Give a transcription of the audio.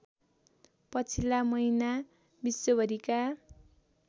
पछिल्ला महिना विश्वभरिका